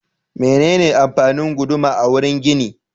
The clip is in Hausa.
Menene amfanin guduma a wurin gini?